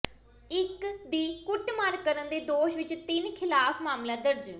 ਇਕ ਦੀ ਕੁੱਟਮਾਰ ਕਰਨ ਦੇ ਦੋਸ਼ ਵਿਚ ਤਿੰਨ ਖ਼ਿਲਾਫ ਮਾਮਲਾ ਦਰਜ